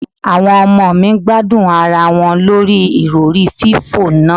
Àwọn ọmọ mi gbádùn ara wọn lórí Ìrọ̀rí fífò náà.